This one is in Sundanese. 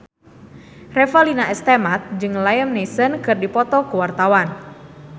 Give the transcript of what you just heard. Revalina S. Temat jeung Liam Neeson keur dipoto ku wartawan